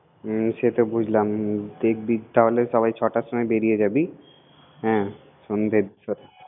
হুম সেটা বুঝলাম কেক বিল টাওয়ারে সবাই ছটার সময়ে বেরিয়ে যাবি, হুম